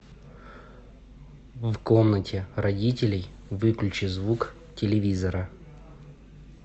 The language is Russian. в комнате родителей выключи звук телевизора